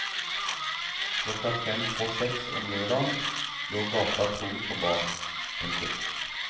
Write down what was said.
Klokken fem på seks om lørdagen lå gata tom for barn. punktum